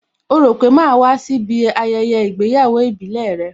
Ó rò pé màá wá síbí ayẹyẹ ìgbéyàwó ìbílẹ̀ rẹ?